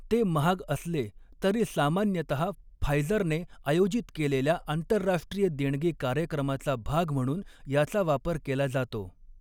ते महाग असले तरी सामान्यतः फायझरने आयोजित केलेल्या आंतरराष्ट्रीय देणगी कार्यक्रमाचा भाग म्हणून याचा वापर केला जातो.